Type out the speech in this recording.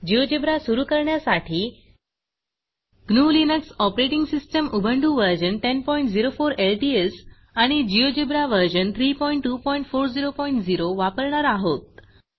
GeoGebra GeoGebra सुरू करण्यासाठी gnuलिनक्स operating system Ubuntu version 1004 LTS आणि जिओजेब्रा व्हर्शन 32400 वापरणार आहोत